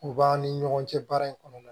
U b'an ni ɲɔgɔn cɛ baara in kɔnɔ